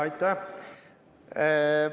Aitäh!